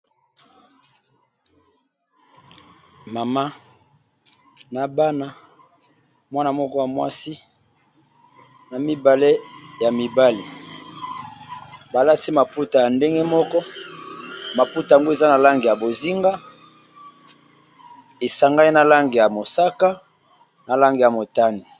mama na bana mwana moko ya mwasi na mibale ya mibale balati maputa ya ndenge moko maputa yango eza na lange ya bozinga esangai na lange ya mosaka na lange ya motani